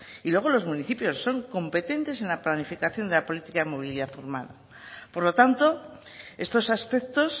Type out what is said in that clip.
y luego los municipios son competentes en la planificación de la política de movilidad urbana por lo tanto estos aspectos